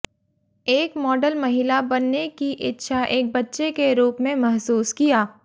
एक मॉडल महिला बनने की इच्छा एक बच्चे के रूप में महसूस किया